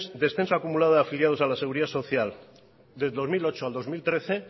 descenso acumulado de afiliados a la seguridad social desde el dos mil ocho al dos mil trece